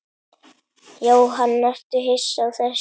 Jóhann: Ertu hissa á þessu?